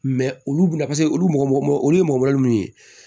olu bina paseke olu mɔgɔ olu ye mɔgɔ minnu ye